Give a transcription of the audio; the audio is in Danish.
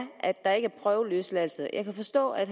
prøveløsladelse jeg kan forstå at